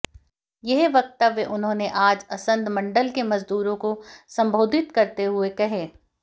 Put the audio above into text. यह वक्तव्य उन्होंने आज असंध मण्डल के मजदूरों को संबोधित करते हुए कहे